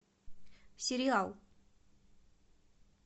сериал